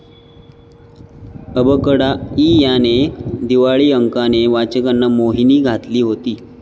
अबकडा' इ या दिवाळी अंकाने वाचकांवर मोहिनी घातली होती.